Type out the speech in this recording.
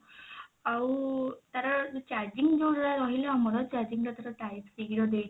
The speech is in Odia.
ଆଉ ତାର charging ଯଉଟା ରହିଲା ଆମର charging ଟା ଧର type c ର ଦେଇଛି